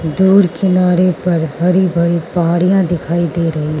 दूर किनारे पर हरी भरी पहाड़ियां दिखाई दे रही --